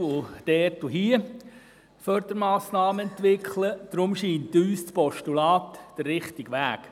Deshalb erscheint uns das Postulat als der richtige Weg.